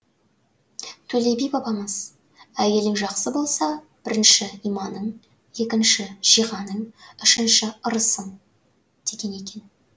төле би бабамыз әйелің жақсы болса бірінші иманың екінші жиғаның үшінші ырысың деген екен